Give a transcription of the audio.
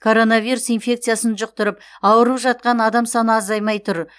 короновирус инфекциясын жұқтырып ауырып жатқан адам саны азаймай тұр